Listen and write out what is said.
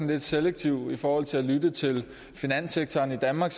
lidt selektiv i forhold til at lytte til finanssektoren i danmark